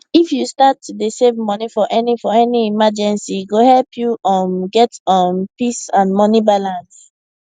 if you start to dey save money for any for any emergency e go help you um get um peace and money balance